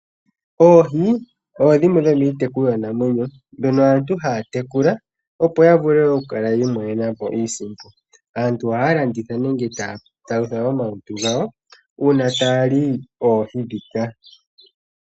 Oohi odho dhimwe dhomiitekulwa namwenyo dhoka aantu haya tekula opo yavule oku kala yiimonena po iisimpo. Aantu ohaya landitha nenge taya palutha omalutu gawo una taya li oohi dhika.